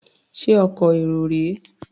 Ṣé ọkọ̀ èrò rèé?